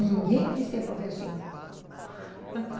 Ninguém quis ser professor.